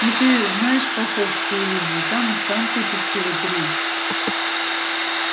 ну ты знаешь каховскую линию там и станций-то всего три